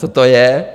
Co to je?